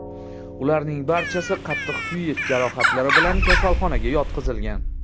Ularning barchasi qattiq kuyish jarohatlari bilan kasalxonaga yotqizilgan.